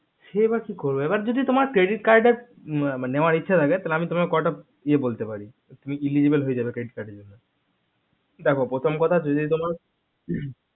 সে এবার কি করবে এবার যদি তোমার credit card এর নেওয়ার ইচ্ছা থাকে তাহলে আমি কয়টা ইয়া বলতে পারি তুমি eligible হয়ে যাবে credit card জন্য দেখো প্রথম কথা যদি তোমার